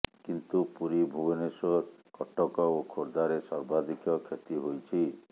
କିନ୍ତୁ ପୁରୀ ଭୁବନେଶ୍ବର କଟକ ଓ ଖୋର୍ଦ୍ଧାରେ ସର୍ବାଧିକ କ୍ଷତି ହୋଇଛି